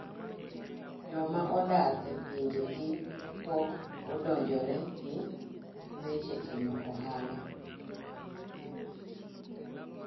Joma odar e pinje gi pok odonjore gi weche timo ohala.